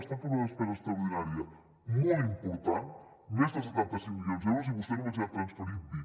estan fent una despesa extraordinària molt important més de setanta cinc milions d’euros i vostè només n’hi ha transferit vint